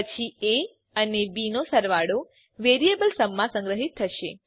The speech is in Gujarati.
પછી એ અને બી નો સરવાળો વેરીએબલ sumમાં સંગ્રહીત થશે